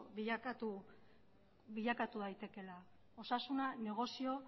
bilakatu daitekeela osasuna negozio